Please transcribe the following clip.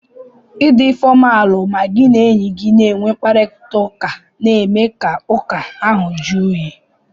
Ị dị fọmalu ma gị na enye gi na-enwe mkparịtaụka na-eme ka ụka ahụ juu oyi.